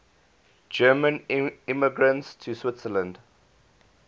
german immigrants to switzerland